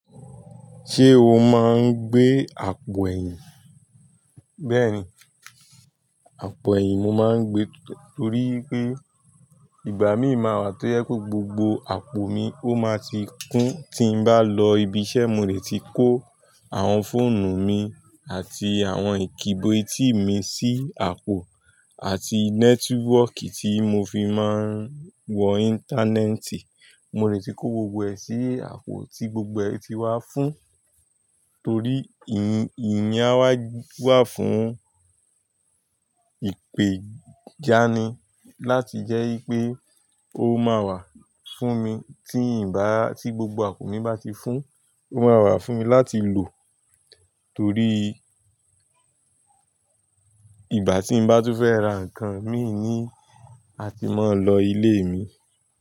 Ṣé o máa ń gbé àpò ẹ̀yìn? Bẹ́ẹ̀ni, àpò ẹ̀yìn mo máa ń gbé torí pé ìgbà míì máa wà tó jẹ pe gbogbo àpò mi ó máa ti kún. Tí n bá lọ ibi iṣẹ́, mo lè ti kó àwọn fóònù mi àti àwọn ìkíbo etì mi sí àpò àti nẹ́tíwọ́kì tí mo fi máa ń wọ íńtánẹ́ẹ̀tì. Mo lè ti kó gbogbo ẹ̀ sí àpò tí gbogbo ẹ̀ ti wá fún. Torí ìyen a wa wà fún ìpèjáni láti jẹ́ wípé ó máa wà fún mi tí ì bá, tí gbogbo àpò mi bá ti fún, ó máa wà fún mi láti lò torí ìgbà tí n bá tún fẹ́ ra nǹkan, míì ní a ti máa lọ ilé mi.